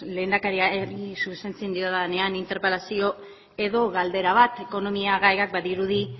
lehendakariari zuzentzen diodanean interpelazio edo galdera bat badirudi